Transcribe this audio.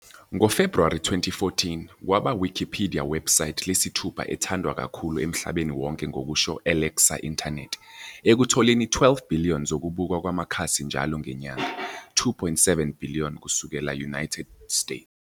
Ngo February 2014, kwaba Wikipedia website lesithupha ethandwa kakhulu emhlabeni wonke ngokusho Alexa Internet, ekutholeni 12 billion zokubukwa kwamakhasi njalo ngenyanga, 2.7 billion kusukela United States.